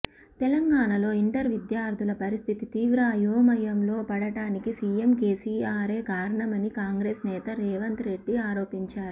తెలంగాణలో ఇంటర్ విద్యార్థుల పరిస్థితి తీవ్ర అయోమయంలో పడడానికి సీఎం కేసీఆరే కారణమని కాంగ్రెస్ నేత రేవంత్ రెడ్డి ఆరోపించారు